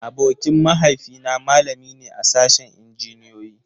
Abokin mahaifi na malami ne a sashen Injiniyoyi.